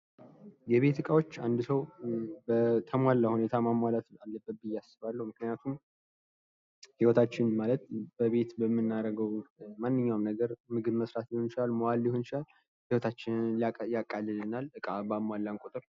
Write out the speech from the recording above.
የቤት እቃዎች አንድ ሰው በተሟላ ሁኔታ ማሟላት አለበት ብየ አስባለሁ። ምክኒያቱም ሂወታችን ማለት በቤት በምናደርገው ማንኛውም ነገር ምግብ መስራት ሊሆን ይችላል መዋል ሊሆን ይችላል። ሂወታችንን ያቃልለናል። ዕቃ ባሟላን ቁጥር።